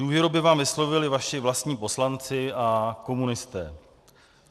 Důvěru by vám vyslovili vaši vlastní poslanci a komunisté.